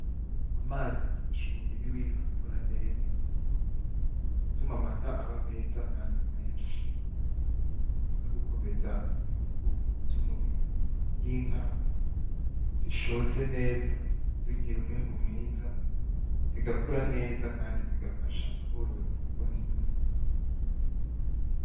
Amazi afasha umubiri winka gukura neza gutuma amata aba meza kandi menshi nugukomeza inguvu zumubiri iyinka zishotse neza zigira umwimbu mwiza zigakura neza kandi zigafasha aborozi kubona inyungu